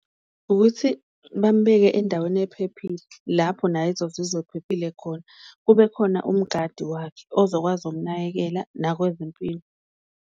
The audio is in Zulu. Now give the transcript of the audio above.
Ukuthi bambeke endaweni ephephile lapho naye ezozizwa ephephile khona, kube khona umgadi wakhe ozokwazi ukunakekela nakwezimpilo.